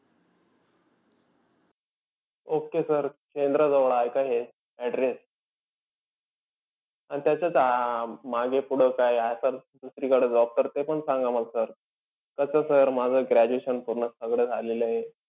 Okay sir शेंद्राजवळ आहे का हे address? आणि त्याच्यात अं मागे-पुढं असलं दुसरीकडं job तर ते पण सांगा मंग sir. कसंय sir माझं graduation पूर्ण सगळं झालेलं आहे.